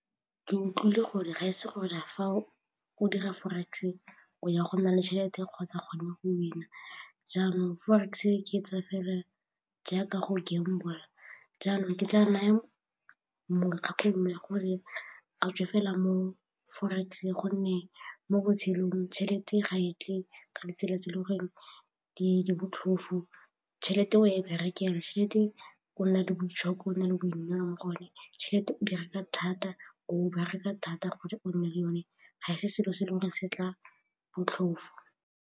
Ke utlwile gore ga e se gore fa o o dira forex e o ya gona le tšhelete kgotsa gone go win-a jaanong forex oketsa fela jaaka go gamble-a jaanong ke tla naya gore a tswe fela mo forex gonne mo botshelong tšhelete ga e tle ka ditsela tse e le gore di botlhofu, tšhelete e berekela, tšhelete o nna le boitshoko o nna le boineelo mo go yone, tšhelete di reka thata, o bereka thata gore o nne le yone, ga se selo se e le gore se tla botlhofo.